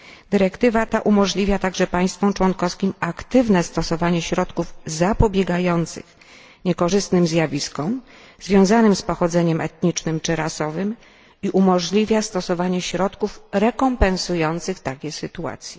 Dyrektywa ta umożliwia także państwom członkowskim aktywne stosowanie środków zapobiegających niekorzystnym zjawiskom związanym z pochodzeniem etnicznym czy rasowym i umożliwia stosowanie środków rekompensujących takie sytuacje.